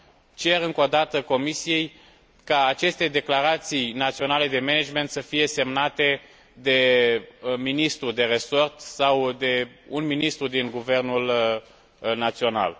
Cer încă o dată Comisiei ca aceste declarații naționale de management să fie semnate de ministrul de resort sau de un ministru din guvernul național.